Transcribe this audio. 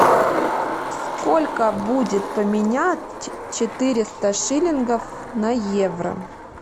сколько будет поменять четыреста шиллингов на евро